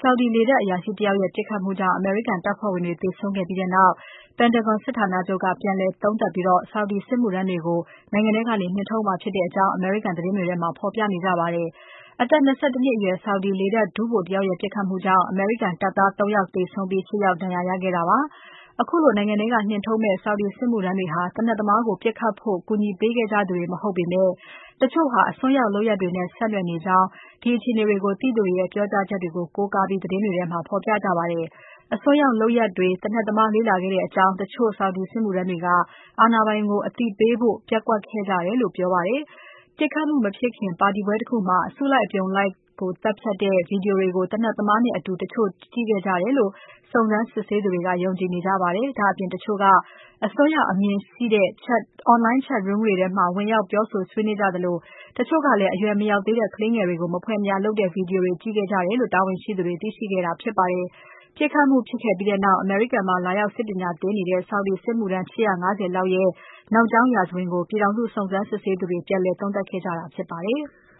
Saudi လေတပ်အရာရှိတယောက်ရဲ့ ပစ်ခတ်မှုကြောင့် အမေရိကန်တပ်ဖွဲ့ဝင်တွေ သေဆုံးခဲ့ပြီးနောက် Pentagon စစ်ဌာနချုပ်က ပြန်လည်သုံးသပ်ပြီး Saudi စစ်မှုထမ်းတွေကို နိုင်ငံထဲကနေ နှင်ထုတ်မှာဖြစ်တဲ့အကြောင်း အမေရိကန်သတင်းတွေမှာ ဖော်ပြပါတယ်။ အသက် ၂၁ နှစ်အရွယ် Saudi လေတပ်ဒုဗိုလ်တယောက်ရဲ့ ပစ်ခတ်မှုကြောင့် အမေရိကန် ရေတပ်သား ၃ ယောက်သေဆုံးပြီး ၈ ယောက် ဒဏ်ရာရခဲ့ကြပါတယ်။ အခုလို နိုင်ငံထဲကနေ နှင်ထုတ်မယ့် Saudi စစ်မှုထမ်းတွေဟာ သေနတ်သမားကို ပစ်ခတ်ဖို့ ကူညီပေးခဲ့ကြသူတွေမဟုတ်ပေမဲ့ တချို့ဟာ အစွန်းရောက်လုပ်ရပ်တွေနဲ့ ဆက်နွယ်နေကြောင်း အမေရိကန် တာဝန်ရှိသူတွေရဲ့ ပြောကြားချက်ကို ကိုးကားပြီး သတင်းတွေထဲမှာ ဖော်ပြကြပါတယ်။ အစွန်းရောက်လုပ်ရပ်တွေ သေနတ်သမားလေ့လာခဲ့တဲ့အကြောင်း တချို့ Saudi စစ်မှုထမ်းတွေက အာဏာပိုင်တွေကို အသိပေးဖို့ ပျက်ကွက်ခဲ့ကြတယ်လို့ ပြောပါတယ်။ ပစ်ခတ်မှုမဖြစ်ခင် ပါတီပွဲတခုမှာ အစုလိုက် အပြုံလိုက်ကို ပစ်ခတ်တဲ့ Video တွေကို သေနတ်သမားနဲ့အတူ တချို့ကြည့်ခဲ့ကြတယ်လို့ စုံစမ်းစစ်ဆေးသူတွေ ယုံကြည်နေကြပါတယ်။ ဒါ့အပြင် တချို့က အစွန်းရောက် အမြင်တွေရှိတဲ့ Online chatroom တွေမှာ ဝင်ရောက် ပြောဆိုဆွေးနွေးခဲ့ကြသလို၊ တချို့ကလည်း အရွယ်မရောက်သေးတဲ့ ကလေးငယ်တွေကို မဖွယ်မရာလုပ်တဲ့ Video တွေ ကြည့်ခဲ့ကြတာကို တာဝန်ရှိသူတွေ သိရှိခဲ့ကြတာဖြစ်ပါတယ်။ ပစ်ခတ်မှုဖြစ်ပြီးနောက် အမေရိကန်မှာ လာရောက်စစ်ပညာသင်ကြားနေတဲ့ Saudi စစ်မှုထမ်း ၈၅၀ လောက်ရဲ့ နောက်ကြောင်းရာဇဝင်ကို ပြည်ထောင်စုစုံစမ်း စစ်ဆေးသူတွေ ပြန်လည် သုံးသပ်ခဲ့ကြတာဖြစ်ပါတယ်။